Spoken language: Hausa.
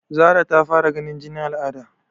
Zara ta fara ganin jinin al'ada?